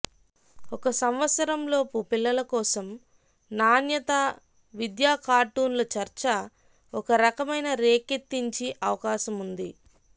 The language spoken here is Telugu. ఒక సంవత్సరం లోపు పిల్లలు కోసం నాణ్యత విద్యా కార్టూన్లు చర్చ ఒక రకమైన రేకెత్తించి అవకాశం ఉంది